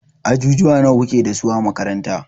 Ajujuwa nawa kuke dasu a makaranta?